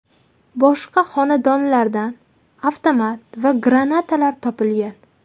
Boshqa xonadonlardan avtomat va granatalar topilgan.